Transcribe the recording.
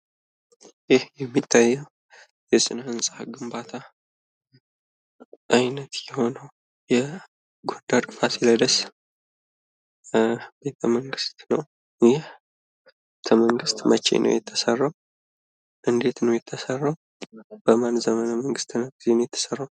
ይኽ የሚታየው የስነ ህንፃ ግንባታ አይነት የሆነው የጎንደር ፋሲለደስ ቤተ መንግስት ነው። ይኽ ቤተ መንግስት መቼ ነው የተሰራው? እንዴት ነው የተሰራው? በማን ዘመነ መንግስት ነው የተሰራው?